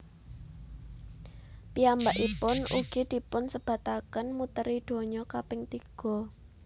Piyambakipun ugi dipunsebataken muteri donya kaping tiga